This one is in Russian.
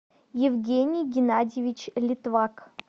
евгений геннадьевич литвак